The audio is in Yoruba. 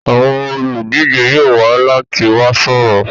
Àwọn olùdíje yóò wá láti wá sọ̀rọ̀.